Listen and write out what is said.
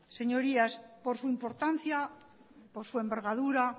señorías por su importancia por su envergadura